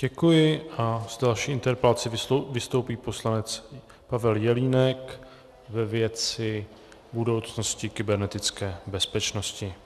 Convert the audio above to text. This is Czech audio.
Děkuji a s další interpelací vystoupí poslanec Pavel Jelínek ve věci budoucnosti kybernetické bezpečnosti.